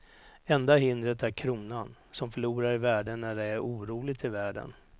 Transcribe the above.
Enda hindret är kronan, som förlorar i värde när det är oroligt i världen.